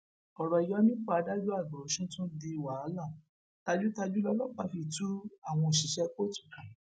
ọrọ ìyọnipọ adájọ àgbà ọsùn tún di wàhálà tajútajú lọlọpàá fi tú àwọn òṣìṣẹ kóòtù ká